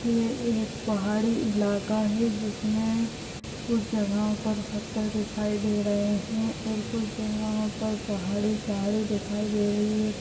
ये एक पहाड़ी इलाका है जिसमें कुछ जगहों पर पत्थर दिखाई दे रहे है और कुछ जगहों पर पहाड़ी-पहाड़ी दिखाई दे रही है।